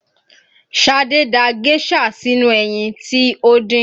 Șadé da géșà sínú ẹyin tí ó dín